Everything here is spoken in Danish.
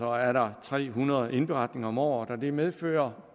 er der tre hundrede indberetninger om året og det medfører